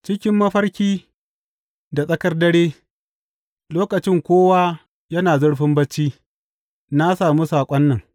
Cikin mafarki da tsakar dare, lokacin kowa yana zurfin barci, na sami saƙon nan.